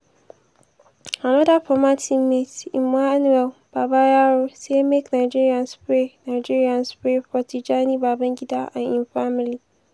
anoda former teammate emmanuel babayaro say make nigerians pray nigerians pray for tijani babangida an im family.